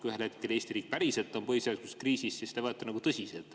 Kui ühel hetkel Eesti riik päriselt on põhiseaduslikus kriisis, siis ei võeta seda tõsiselt.